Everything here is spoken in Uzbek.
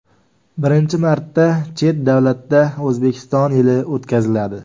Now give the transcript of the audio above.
Birinchi marta chet davlatda O‘zbekiston yili o‘tkaziladi.